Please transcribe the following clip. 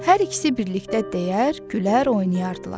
Hər ikisi birlikdə deyər, gülər, oynayardılar.